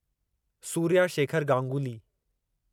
Surya Shekhar Ganguly